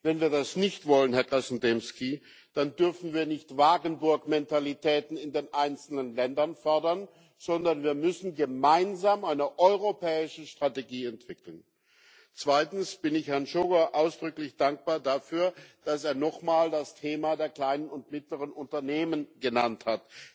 Wenn wir das nicht wollen, Herr Krasnodębski, dann dürfen wir nicht Wagenburgmentalitäten in den einzelnen Ländern fordern, sondern wir müssen gemeinsam eine europäische Strategie entwickeln. Zweitens Ich bin Herrn Sógor ausdrücklich dankbar dafür, dass er nochmal das Thema der kleinen und mittleren Unternehmen genannt hat.